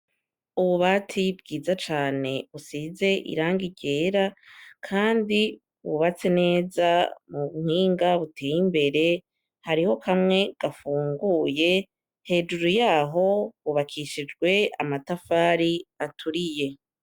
Uwubati bwiza cane usize iranga irera, kandi ubatse neza mu mpwinga buteye imbere hariho kamwe gafunguye hejuru yaho bubakishijwe amatafari aturiye.